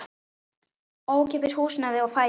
Ókeypis húsnæði og fæði.